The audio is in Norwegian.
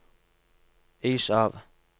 is av